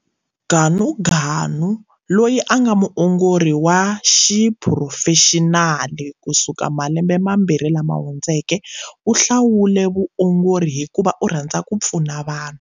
Ganuganu, loyi a nga muongori wa xiphurofexinali kusukela malembe mambirhi lama hundzeke, u hlawule vuongori hikuva u rhandza ku pfuna vanhu.